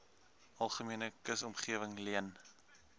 algemene kusomgewing leen